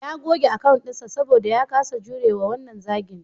Ya goge account dinsa saboda ya kasa jurewa wannan zagin.